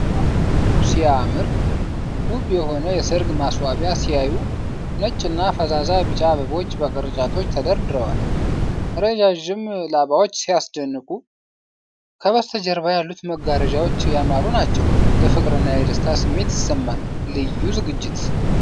ዋው ሲያምር! ውብ የሆነ የሠርግ ማስዋቢያ ሲያዩ! ነጭና ፈዛዛ ቢጫ አበቦች በቅርጫቶች ተደርድረዋል። ረዣዥም ላባዎች ሲያስደንቁ! ከበስተጀርባ ያሉት መጋረጃዎች ያማሩ ናቸው። የፍቅርና የደስታ ስሜት ይሰማል። ልዩ ዝግጅት ነው።